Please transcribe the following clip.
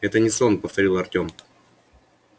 это не сон повторил артём